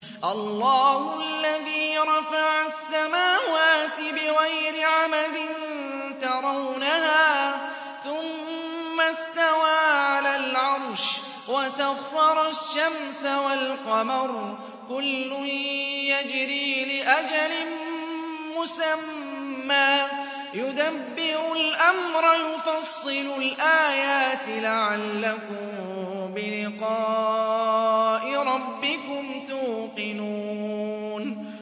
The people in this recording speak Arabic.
اللَّهُ الَّذِي رَفَعَ السَّمَاوَاتِ بِغَيْرِ عَمَدٍ تَرَوْنَهَا ۖ ثُمَّ اسْتَوَىٰ عَلَى الْعَرْشِ ۖ وَسَخَّرَ الشَّمْسَ وَالْقَمَرَ ۖ كُلٌّ يَجْرِي لِأَجَلٍ مُّسَمًّى ۚ يُدَبِّرُ الْأَمْرَ يُفَصِّلُ الْآيَاتِ لَعَلَّكُم بِلِقَاءِ رَبِّكُمْ تُوقِنُونَ